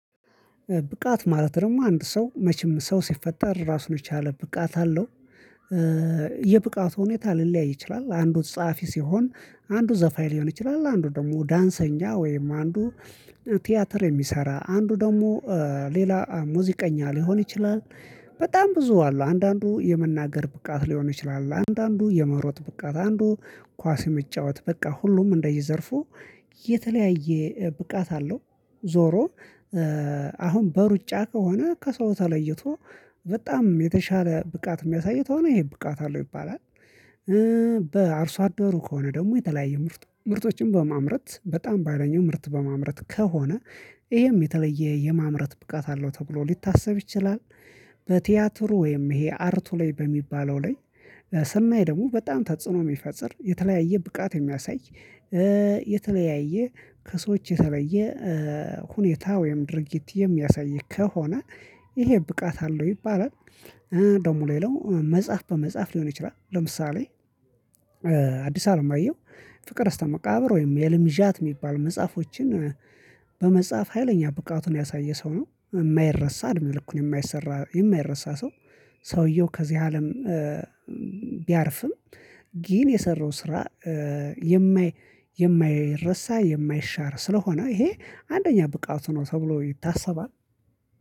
ብቃት ማለት ደግሞ አንድ ሰው መቼም ሰው ሲፈጠር ራሱን የቻለ ብቃት አለው የብቃት ሁኔታ ሊለያይ ይችላል አንዱ ጸሐፊ ሲሆን አንዱ ዘፋኝ ሊሆን ይችላል አንዱ ደግሞ ዳንሰኛ ወይም አንዱ ቲያትር የሚሰራ አንዱ ደግሞ ሌላ ሙዚቀኛ ሊሆን ይችላል በጣም ብዙ አሉ አንዳንዱ የመናገር ብቃት ሊሆን ይችላል አንዳንዱ የመሮጥ ብቃት አንዱ ኳስ የመጫወት በቃ ሁሉም እንደየዘርፉ የተለያየ ብቃት አለው ዞሮ አሁን በሩጫ ከሆነ ከሰው ተለይቶ በጣም የተሻለ ብቃት የሚያሳይ ከሆነ ይሄ ብቃት አለው ይባላል በአርሶ አደሩ ከሆነ ደግሞ የተለያዩ ምርት ምርቶችን በማምረት በጣም በሃይለኛው ምርት በማምረት ከሆነ ይሄም የተለየ የማምረት ብቃት አለው ተብሎ ሊታሰብ ይችላል በቲያትሩ ወይም ይሄ አርቱ ላይ በሚባለው ላይ ስናይ ደግሞ በጣም ተጽዕኖ የሚፈጥር የተለያየ ብቃት የሚያሳይ የተለያየ ከሰዎች የተለየ ሁኔታ ወይም ድርጊት የሚያሳይ ከሆነ ይሄ ብቃት አለው ይባላል። ደግሞ ሌላው መጽሐፍ በመጻፍ ሊሆን ይችላል። ለምሳሌ አዲስ አለማየሁ ፍቅር እስከ መቃብር ወይም የህልም ዣት የሚባሉ መጽሐፎችን በመጻፍ ሀይለኛ ብቃቱን ያሳየ ሰው ነው። የማይረሳ እድሜ ልኩን የማይሰራ የማይረሳ ሰው ሰውየው ከዚህ አለም ቢያርፍም ግን የሰራው ስራ የማይ የማይረሳ የማይሻር ስለሆነ ይሄ አንደኛ ብቃቱ ነው ተብሎ ይታሰባል